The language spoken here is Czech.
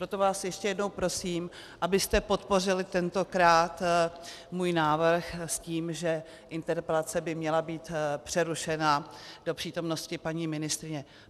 Proto vás ještě jednou prosím, abyste podpořili tentokrát můj návrh s tím, že interpelace by měla být přerušena do přítomnosti paní ministryně.